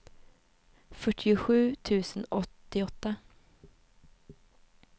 fyrtiosju tusen åttioåtta